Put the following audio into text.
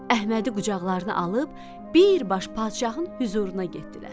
Əhmədi qucaqlarına alıb birbaş padşahın hüzuruna getdilər.